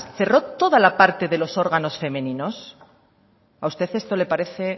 cerró toda la parte de los órganos femeninos a usted esto le parece